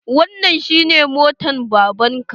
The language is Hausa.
Wannan shi ne motar baban ka?